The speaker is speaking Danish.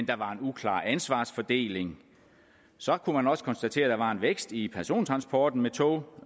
der var en uklar ansvarsfordeling så kunne man også konstatere der var en vækst i persontransporten med tog